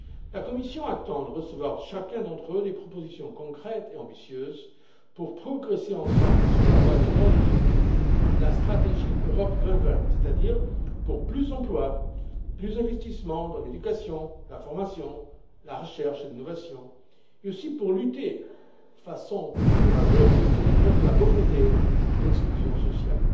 La Commission attend de recevoir de chacun d'entre eux des propositions concrètes et ambitieuses pour progresser ensemble sur la voie des grands objectifs de la stratégie Europe 2020, c'est à dire pour plus d'emplois et plus d'investissements dans l'éducation, la formation, la recherche et l'innovation, et aussi pour lutter de façon plus courageuse contre la pauvreté et l'exclusion sociale.